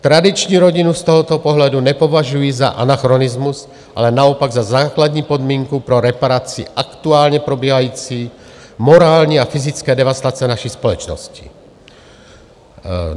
Tradiční rodinu z tohoto pohledu nepovažuji za anachronismus, ale naopak za základní podmínku pro reparaci aktuálně probíhající morální a fyzické devastace naší společnosti.